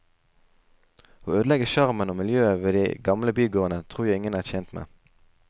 Å ødelegge sjarmen og miljøet ved de gamle bygårdene, tror jeg ingen er tjent med.